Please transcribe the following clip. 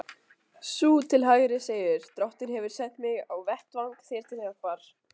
Sú til hægri segir: Drottinn hefur sent mig á vettvang þér til hjálpar.